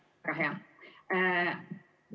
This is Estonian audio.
Väga hea!